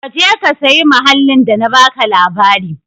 Ka je ka sayi mahallin da na baka labari.